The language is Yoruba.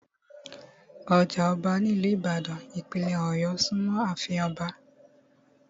Ọjà ọba ní ìlú ìbàdàn, ìpínlẹ̀ ọ̀yọ́ súnmọ́ àfin Ọba